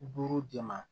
Buru de ma